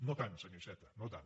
no tant senyor iceta no tant